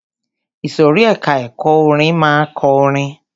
Ìsòrí ẹka ẹ̀kọ́ orin máa ma kọrin.